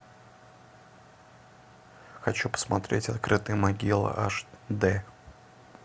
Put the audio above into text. хочу посмотреть открытая могила аш д